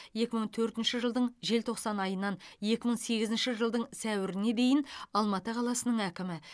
екі мың төртінші жылдың желтоқсан айынан екі мың сегізінші жылдың сәуіріне дейін алматы қаласының әкімі